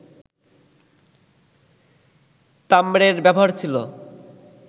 তাম্রের ব্যবহার ছিল